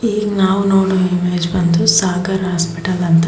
ಈಗ ನಾವು ನೋಡುವ ಇಮೇಜ್ ಬಂದು ಸಾಗರ್ ಹಾಸ್ಪಿಟಲ್ ಅಂತ.